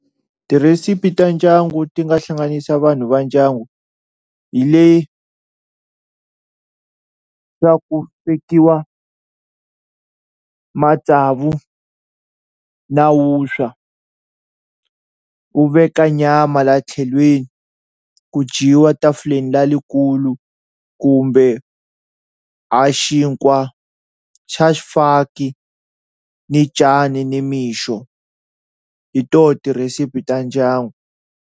Tirhesipi ta ndyangu ti nga hlanganisa vanhu va ndyangu hileswaku matsavu na wuswa u veka nyama laha tlhelweni ku dyiwa tafulen lalikulu kumbe ha xinkwa xa xifaki ni cani nimixo hi toho tirhesipi ta ndyangu.